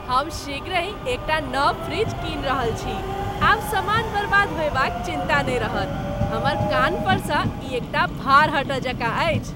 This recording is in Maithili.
हम शीघ्रहि हम एक टा नव फ्रिज कीनि रहल छी। आब समान बर्बाद होयबाक चिन्ता नहि रहत। हमर कान्हपरसँ ई एक टा भार हटय जकाँ अछि।